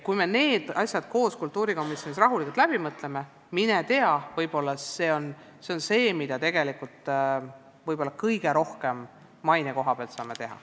Kui me need asjad kultuurikomisjonis koos rahulikult läbi mõtleme, siis mine tea, võib-olla see on see, mida me maine koha pealt kõige rohkem teha saame.